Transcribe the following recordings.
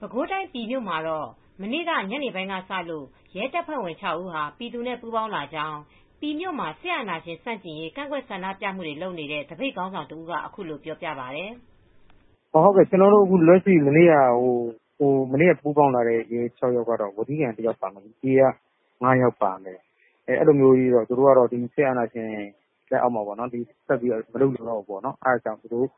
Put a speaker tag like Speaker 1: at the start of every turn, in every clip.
Speaker 1: ပဲခူးတိုင်း ပြည်မြို့မှာတော့ မနေ့က ညနေပိုင်းကစလို့ ရဲတပ်ဖွဲ့ဝင် ၆ ဦးဟာ ပြည်သူနဲ့ ပူးပေါင်းလာကြောင်း ပြည်မြို့မှာ စစ်အာဏရှင်ဆန့်ကျင်ရေး ကန့်ကွက်ဆန္ဒပြမှုတွေ လုပ်နေတဲ့ သပိတ်ခေါင်းဆောင်တဦးက အခုလိုပြောပြပါတယ်။
Speaker 2: "ကျနော်တို့ လက်ရှိ ပူးပေါင်းလာတာကတော့ ဝက်ထီးကန်တယောက်ပါတယ်။ ပြည်က ၅ ယောက်ပါ ပါတယ်။ သူတို့ကတော့ စစ်အာဏာရှင် လက်အောက်မှာ မလုပ်ချင်တော့ဘူးပေါ့နော်... အဲဒါကြောင့်သူတို့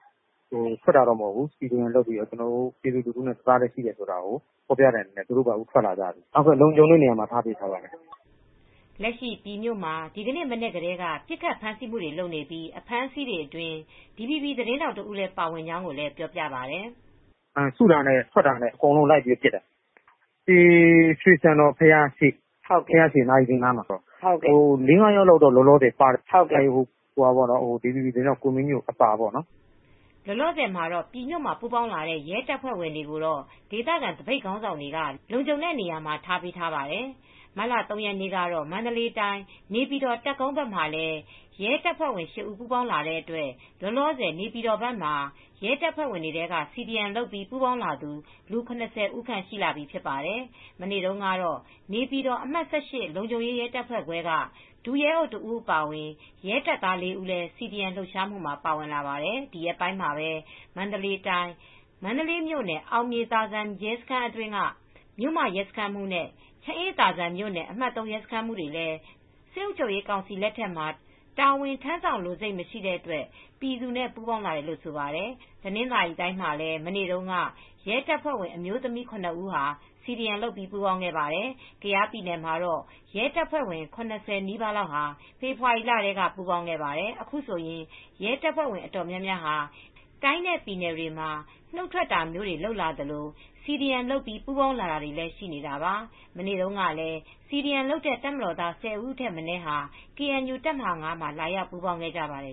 Speaker 2: ထွက်တာတော့မဟုတ်ဘူး။ CDM လုပ်ပြီးတော့ ပြည်သူလူထုနဲ့ တသားတည်းရှိတာကို ဖော်ပြတဲ့အနေနဲ့သူတို့ပါထွက်လာကြတယ်။ လုံခြုံတဲ့နေရာမှာ ကျနော်တို့ ထားပေးထားပါတယ်။
Speaker 1: " လက်ရှိ ပြည်မြို့မှာ ဒီကနေ့ မနက်ကတည်းက ပစ်ခတ်ဖမ်းဆီးမှုတွေ လုပ်နေပြီး အဖမ်းအဆီးအတွင်း DVB သတင်းထောက်တဦး ပါဝင်ကြောင်းကိုလည်းပြောပြပါတယ်
Speaker 2: ။ "စုတာနဲ့၊ ထွက်တာနဲ့ အကုန်လုံးလိုက်ပြီးတော့ ပစ်တာ။ ပြည်ရွှေဆံတော်ဘုရားရှေ့ နာရီစင်နားမှာ အနည်းဆုံး လေး၊ ငါးယောက်တော့ ပါသွားတယ်။ DVB သတင်းထောက်ကိုမင်းညို အပါအဝင်ပေါ့။"
Speaker 1: လောလောဆယ် ပြည်မြို့မှာ ပူးပေါင်းလာတဲ့ ရဲတပ်ဖွဲ့ဝင်တွေကိုတော့ ဒေသခံသပိတ်ခေါင်းဆောင်တွေက လုံခြုံတဲ့နေရာမှာ ထားပေးထားပါတယ်။ မတ်လ ၃ ရက်နေ့မှာတော့ မန္တလေးတိုင်း၊ နေပြည်တော်တပ်ကုန်းဘက်မှာလည်း ရဲတပ်ဖွဲ့ဝင် ရှစ် ဦး ပူးပေါင်းလာတဲ့အတွက် လောလောဆယ် နေပြည်တော်ဘက်မှာ ရဲတပ်ဖွဲ့ဝင်တွေထဲက CDM လုပ်ပြီး ပူးပေါင်းသူ လူ ၇၀ ဦးခန့် ရှိလာပြီဖြစ်ပါတယ်။ မနေ့ကတော့ နေပြည်တော်အမှတ် လုံခြုံရေးရဲတပ်ဖွဲ့ခွဲက ဒုရဲအုပ်တစ်ဦးအပါအဝင် ရဲတပ်သားလေးဦးလည်း CDM လှုပ်ရှားမှုမှာ ပါဝင်လာပါတယ်။ ဒီရက်ပိုင်းမှာပဲ မန္တလေးတိုင်း မန္တလေးမြို့နယ် အောင်မြေသာဇံရဲစခန်းက မြို့မရဲစခန်းမှူးနဲ့ ချမ်းအေးသာဇံမြို့နယ်အမှတ် ရဲစခန်းမှူးတွေလည်း စစ်အုပ်ချုပ်ရေးကောင်စီလက်ထက်မှာ တာဝန်ထမ်းဆောင်လိုစိတ် မရှိတဲ့အတွက် ပြည်သူနဲ့ ပူးပေါင်းလာတာလို့ ဆိုပါတယ်။ တနင်္သာရီတိုင်းမှာလည်း မနေ့က ရဲတပ်ဖွဲ့ဝင်အမျိုးသမီး ၇ ဦးဟာ CDM လုပ်ပြီး ပူးပေါင်းခဲ့ပါတယ် ကယားပြည်နယ်မှာတော့ ရဲတပ်ဖွဲ့ဝင် ၇၀ နီးပါးလောက်ဟာ ဖေဖေါ်ဝါရီလထဲမှာ ပူးပေါင်းခဲ့ပါတယ်။ အခုဆိုရင် ရဲတပ်ဖွဲ့ဝင်တွေ အတော်များများက တိုင်းနဲ့ ပြည်နယ်တွေမှာ နုတ်ထွက်တာမျိုးတွေ လုပ်လာသလို၊ CDM လုပ်ပြီး ပူးပေါင်းတာတွေလည်း ရှိနေသလို မနေ့ကလည်း CDM လုပ်တဲ့ တပ်မတော်သား ၁၀ ဦးထက်မနည်းဟာ KNU တပ်မဟာ မှာ လာရောက် ပူးပေါင်းခဲ့ကြပါတယ်